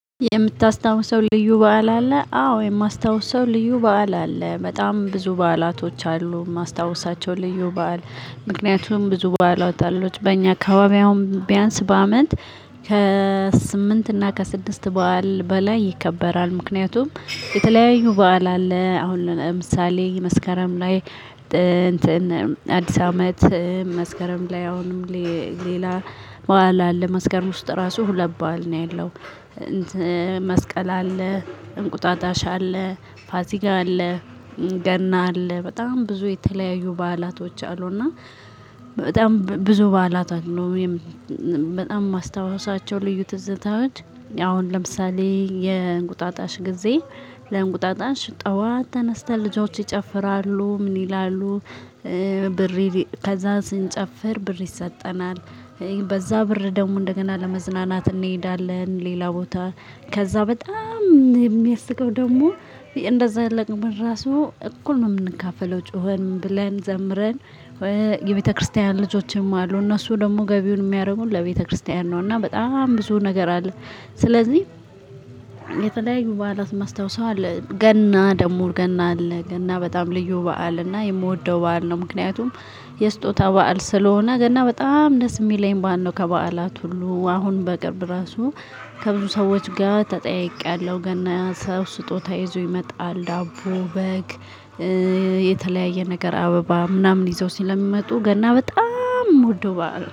የምታስታውሰው ልዩ በዓል አለ? አዎ የማስታውሰው ልዩ በዓል አለ በጣም ብዙ በዓላቶች አሉ። የማስታውሳቸው ልዩ በዓል ምክንያቱም ብዙ በዓላት አሎች በእኛ አከባቢ አሁን ቢያንስ በአመት ከስምንት እና ከስድስት በዓል በላይ ይከበራል። ምክንያቱም የተለያዩ በዓል አለ አሁን ለምሳሌ መስከረም ላይ እንትን አዲስ አመት። መስከረም ላይ አሁንም ሌላ በዓል አለ። መስከረም ውስጥ ራሱ ሁለት በዓል ነው ያለው። እንትም መስቀል አለ። እንቁጣጣሽ አለ። ፋሲጋ አለ። ገና አለ በጣም ብዙ የተለያዩ በዓላቶች አሉና። በጣም ብብዙ በዓላት አሉ የበጣም ማስታወሳቸው ልዩ ትዝታዎች። አሁን ለምሳሌ የእንቁጣጣሽ ጊዜ ለእንቁጣጣሽ ጠዋት ተነስተን ልጆች ይጨፍራሉ ምን ይላሉ? ብር ከዛ ስንጨፍር ብር ይሰጠናል። በዛ ብር ደግሞ እንደገና ለመዝናናት እንሄዳለን ሌላ ቦታ። ከዛ በጣም ሚ የሚያስቀው ደግሞ እንደዛ ለቅም ራሱ እኩል ነው የምንካፈለው። ጮኸን ምንብለን ዘምረን። የቤተክርስቲያን ልጆችም አሉ እነሱ ደግሞ ገቢውን የሚያደርጉን ለቤተክርስቲያን ነው። እና በጣም ብዙ ነገር አለ። ስለዚህ የተለያዩ በዓላት ማስታወስ አለ ገና ደግሞ ገና አለ ገና በጣም ልዩ በዓል እና የምወደው በዓል ነው። ምክንያቱም የስጦታ በዓል ስለሆነ ገና በጣም ደስ የሚለኝ በዓል ነው። ከበዓላት ሁሉ አሁን በቅርብ ራሱ ከብዙ ሰዎች ጋር ተጠያይቄአለሁ። ገና ሰው ስጦታ ይዞ ይመጣል ዳቦ በግ። የተለያየ ነገር አበባ ምናምን ይዘው ስለሚመጡ ገና በጣም የምወደው በዓል ነው